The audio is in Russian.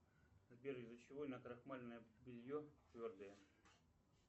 сбер из за чего накрахмаленное белье твердое